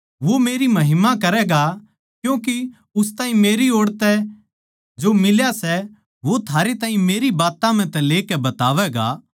वो मेरी महिमा करैगा क्यूँके उस ताहीं मेरी ओड़ तै जो मिला सै वो थारे ताहीं मेरी बात्तां म्ह तै लेकै बतावैगा